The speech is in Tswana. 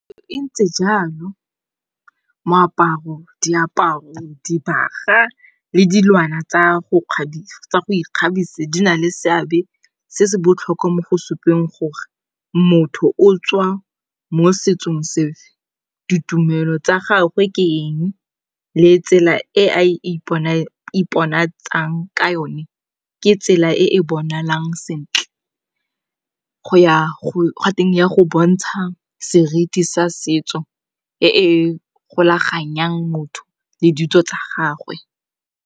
E ntse jalo moaparo, diaparo, dibaga le dilwana tsa go ikgabisa di na le seabe se se botlhokwa mo go supang gore motho o tswa mo setsong sefe. Ditumelo tsa gagwe ke eng le tsela e a iponatshang ka yone, ke tsela e e bonalang sentle, ya go bontsha seriti sa setso e e golaganyang motho le ditso tsa gagwe.